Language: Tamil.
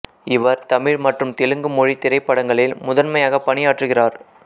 இவர் தமிழ் மற்றும் தெலுங்கு மொழி திரைப்படங்களில் முதன்மையாக பணியாற்றுகிறார்